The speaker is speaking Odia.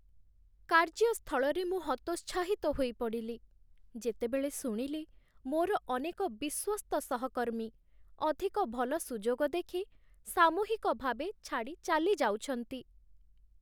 କାର୍ଯ୍ୟସ୍ଥଳରେ ମୁଁ ହତୋତ୍ସାହିତ ହୋଇପଡ଼ିଲି, ଯେତେବେଳେ ଶୁଣିଲି ମୋର ଅନେକ ବିଶ୍ୱସ୍ତ ସହକର୍ମୀ ଅଧିକ ଭଲ ସୁଯୋଗ ଦେଖି ସାମୂହିକ ଭାବେ ଛାଡ଼ି ଚାଲିଯାଉଛନ୍ତି।